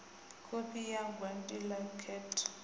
kopi ya gwati la khetho